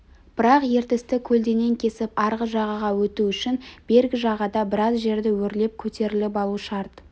бірақ ертісті көлденең кесіп арғы жағаға өту үшін бергі жағада біраз жерді өрлеп көтеріліп алу шарт